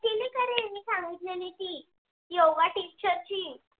yoga teacher ची